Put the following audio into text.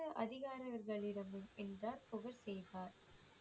அதிகாரிகளிடம் புகழ் செய்வார்